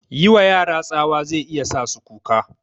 Yiwa yara tsawa zai iya sa su kuka